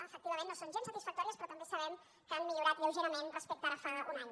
efectivament no són gens satisfactòries però també sabem que han millorat lleugerament respecte a ara fa un any